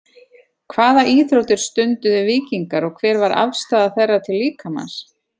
Hvaða íþróttir stunduðu víkingar og hver var afstaða þeirra til líkamans?